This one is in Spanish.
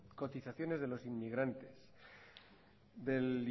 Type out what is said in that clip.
cotizaciones de los inmigrantes del